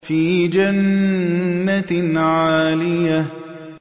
فِي جَنَّةٍ عَالِيَةٍ